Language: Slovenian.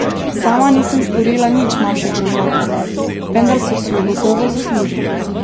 Sama nisem storila nič manjše grozote, vendar so si jo gotovo zaslužili.